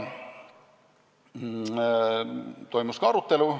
Toimus ka arutelu.